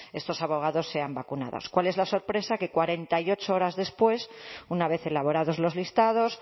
estos abogados sean vacunados cuál es la sorpresa que cuarenta y ocho horas después una vez elaborados los listados